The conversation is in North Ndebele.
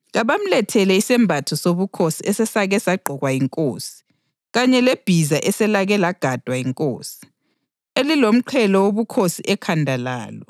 kabamlethele isembatho sobukhosi esesake sagqokwa yinkosi kanye lebhiza eselake lagadwa yinkosi, elilomqhele wobukhosi ekhanda lalo.